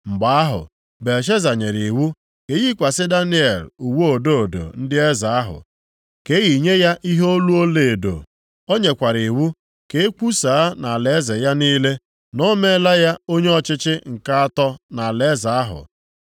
Mgbe ahụ Belshaza nyere iwu ka e yikwasị Daniel uwe odo odo ndị eze ahụ, ka e yinye ya ihe olu ọlaedo. O nyekwara iwu ka e kwusaa nʼalaeze ya niile, na o meela ya onye ọchịchị nke atọ nʼalaeze ahụ.